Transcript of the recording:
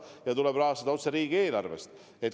Sel juhul tuleb rahastada otse riigieelarvest.